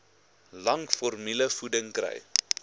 lank formulevoeding kry